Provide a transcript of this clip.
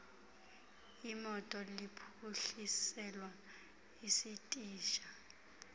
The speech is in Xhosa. iimoto liphuhliselwa isitishi